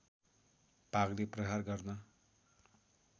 भागले प्रहार गर्न